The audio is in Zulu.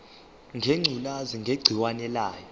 ngengculazi negciwane layo